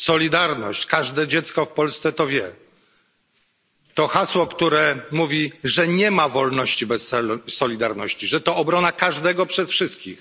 Solidarność każde dziecko w Polsce to wie jest to hasło, które mówi, że nie ma wolności bez solidarności, że to obrona każdego przez wszystkich.